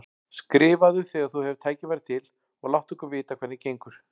Skrifaðu þegar þú hefur tækifæri til og láttu okkur vita hvernig gengur.